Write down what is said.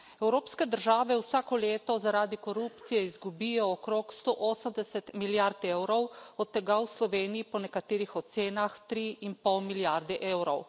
Evropske države vsako leto zaradi korupcije izgubijo okrog 180 milijard evrov, od tega v Sloveniji po nekaterih ocenah 3 in pol milijarde evrov.